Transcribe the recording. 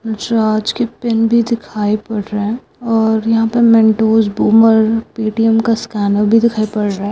हंसराज के पेन भी दिखाई पड़ रहा है और यहां पर मेंटोस बूमर पेटीएम का स्कैनर भी दिखाई पड़ रहा है|